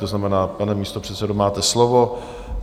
To znamená, pane místopředsedo, máte slovo.